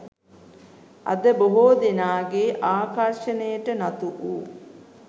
අද බොහෝ දෙනාගේ ආකර්ශණයට නතු වූ